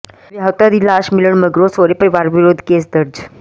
ਵਿਆਹੁਤਾ ਦੀ ਲਾਸ਼ ਮਿਲਣ ਮਗਰੋਂ ਸਹੁਰੇ ਪਰਿਵਾਰ ਵਿਰੁੱਧ ਕੇਸ ਦਰਜ